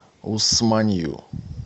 усманью